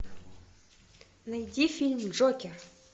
найди фильм джокер